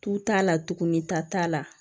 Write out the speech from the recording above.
Tu t'a la tugunni ta t'a la